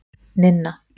Ninna